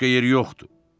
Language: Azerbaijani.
Başqa yer yoxdur.